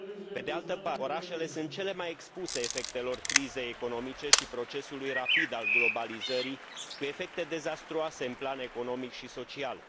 Pe de altă parte, orașele sunt cele mai expuse efectelor crizei economice și procesului rapid al globalizării, cu efecte dezastruoase în plan economic și social.